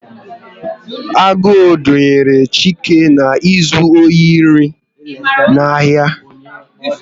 Agụụ dunyere Chike na izu ohi nri n'ahia